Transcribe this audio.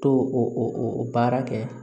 To o o baara kɛ